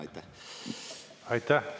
Aitäh!